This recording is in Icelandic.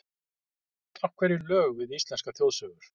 Af hverju lög við íslenskar þjóðsögur?